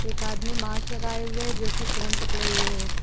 एक आदमी मास्क लगाए हुए जो कि फोन पड़े हुए हैं।